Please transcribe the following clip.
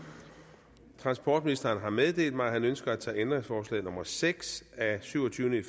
transportministeren har meddelt mig at han ønsker at tage ændringsforslag nummer seks af syvogtyvende